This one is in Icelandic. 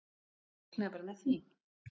Ég reiknaði bara með því.